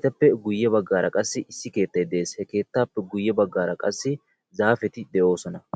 Etappe guye baggara qassi issi keettay de'ees, he keettaappe guye baggaara qassi zaappeti de'oosona.